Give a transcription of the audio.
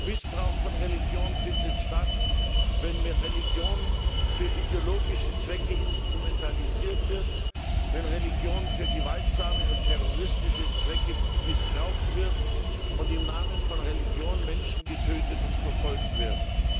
Missbrauch von Religion findet statt, wenn Religion für ideologische Zwecke instrumentalisiert wird, wenn Religion für gewaltsame und terroristische Zwecke missbraucht wird und im Namen von Religion Menschen getötet und verfolgt werden.